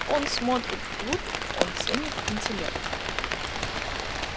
он смотрит вглубь он ценит интеллект